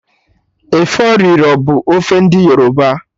Efọriro bụ ofe ndị Yoruba